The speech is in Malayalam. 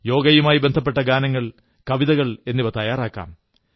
യോഗയുമായി ബന്ധപ്പെട്ട ഗാനങ്ങൾ കവിതകൾ തയ്യാറാക്കാം